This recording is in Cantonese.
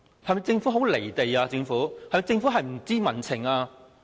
政府是否很"離地"，是否不知民情？